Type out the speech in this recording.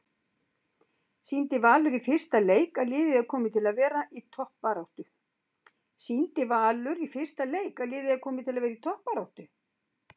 Sýndi Valur í fyrsta leik að liðið er komið til að vera í toppbaráttu?